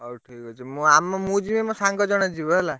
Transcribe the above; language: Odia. ହଉ ଠିକ ଅଛି। ମୁଁ ଆମ ମୁଁ ଯିବି। ମୋ ସାଙ୍ଗ ଜଣେ ଯିବ ହେଲା।